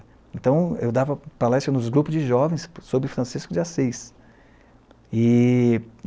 Então, eu dava palestras nos grupos de jovens sobre Francisco de Assis. E